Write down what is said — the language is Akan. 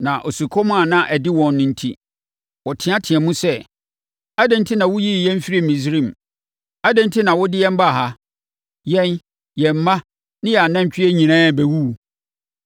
Na osukɔm a ade wɔn no enti, wɔteateaam sɛ, “Adɛn enti na woyii yɛn firii Misraim? Adɛn enti na wode yɛn baa ha? Yɛn, yɛn mma ne yɛn anantwie nyinaa bɛwuwu!”